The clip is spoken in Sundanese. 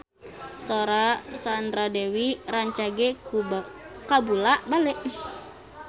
Sora Sandra Dewi rancage kabula-bale